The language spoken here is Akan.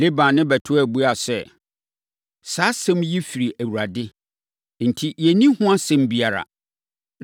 Laban ne Betuel buaa sɛ, “Saa asɛm yi firi Awurade enti, yɛnni ho asɛm biara.